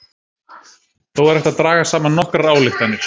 þó er hægt að draga saman nokkrar ályktanir